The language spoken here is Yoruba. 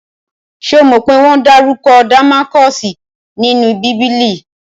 Ṣomo pé wọ́n dárúkọ Damaskosi nínú bíbélì?